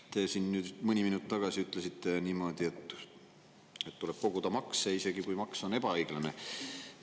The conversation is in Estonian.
Te siin mõni minut tagasi ütlesite niimoodi, et makse tuleb koguda, isegi kui maks on ebaõiglane.